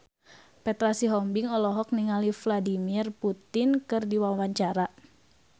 Petra Sihombing olohok ningali Vladimir Putin keur diwawancara